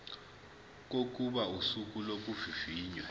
kokuba usuku lokuvivinywa